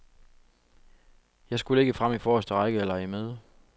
Jeg skulle ikke frem i forreste række og lege med.